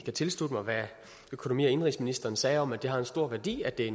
jeg tilslutte mig hvad økonomi og indenrigsministeren sagde om at det har en stor værdi at det